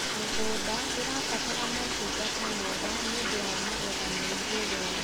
mĩgũnda irabatara motungata mega nĩũndũ wa magetha me igũrũ